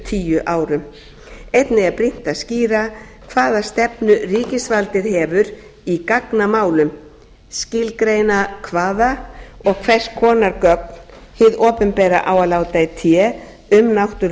tíu árum einnig er brýnt að skýra hvaða stefnu ríkisvaldið hefur í gagnamálum skilgreina hvaða og hvers konar gögn hið opinbera á að láta í té um náttúru